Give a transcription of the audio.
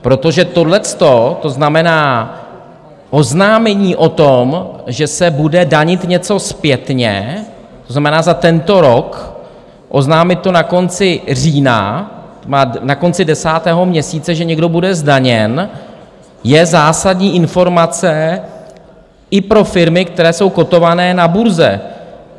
Protože tohleto, to znamená oznámení o tom, že se bude danit něco zpětně, to znamená za tento rok, oznámit to na konci října, na konci desátého měsíce, že někdo bude zdaněn, je zásadní informace i pro firmy, které jsou kótované na burze.